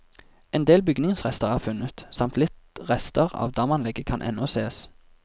En del bygningsrester er funnet, samt litt rester av damanlegget kan ennå sees.